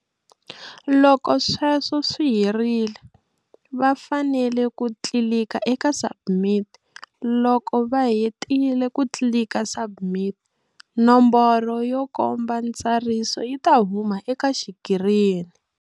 Loko sweswo swi herile, va fanele ku tlilika eka SUBMIT. Loko va hetile ku tlilika SUBMIT, nomboro yo komba ntsariso yi ta huma eka xikirini.